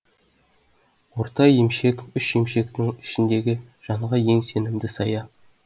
орта емшек үш емшектің ішіндегі жанға ең сенімді сая